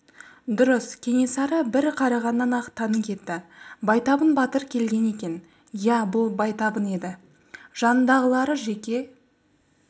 дұрыс кенесары бір қарағаннан-ақ тани кетті байтабын батыр келген екен иә бұл байтабын еді жанындағылары жеке